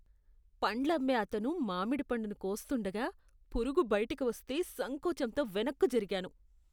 పండ్లమ్మే అతను మామిడి పండును కోస్తుండగా, పురుగు బయటకు వస్తే సంకోచంతో వెనక్కు జరిగాను.